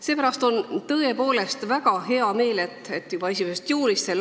Seepärast on tõepoolest väga hea meel, et juba 1. juulist s.